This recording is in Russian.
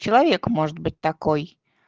человек может быть такой